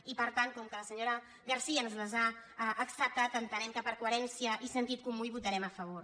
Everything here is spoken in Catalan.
i per tant com que la senyora garcía ens les ha acceptat entenem que per coherència i sentit comú hi votarem a favor